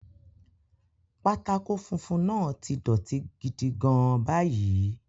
Pátákó funfun náà ti dọ̀tí gidi gan-an báyìí.